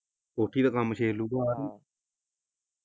ਕੋਠੀ ਦਾ ਕੰਮ .